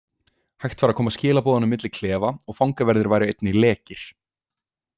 Hægt væri að koma skilaboðum milli klefa og fangaverðir væru einnig „lekir“. „